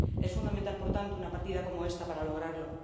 Es fundamental, por tanto, una partida como esta para lograrlo.